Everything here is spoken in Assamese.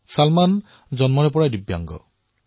চলমান জন্মৰ পৰাই দিব্যাংগ